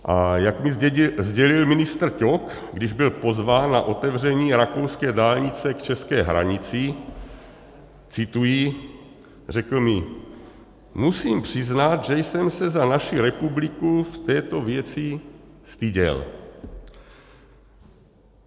A jak mi sdělil ministr Ťok, když byl pozván na otevření rakouské dálnice k české hranici, cituji, řekl mi: "Musím přiznat, že jsem se za naši republiku v této věci styděl."